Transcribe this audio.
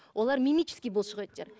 олар мимический бұлшық еттер